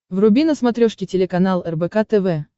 вруби на смотрешке телеканал рбк тв